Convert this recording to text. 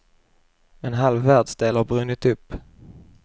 En halv världsdel har brunnit upp.